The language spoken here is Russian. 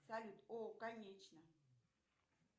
салют о конечно